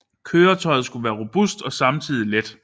Køretøjet skulle være robust og samtidig let